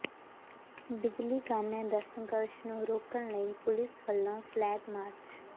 ਬਿਜਲੀ ਕਾਮਿਆਂ ਦਾ ਸੰਘਰਸ਼ ਨੂੰ ਰੋਕਣ ਲਈ ਪੁਲੀਸ ਵਲੋਂ ਫਲੈਗ ਮਾਰਚ